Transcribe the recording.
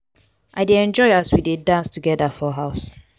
i dey enjoy as we dey dance togeda for house.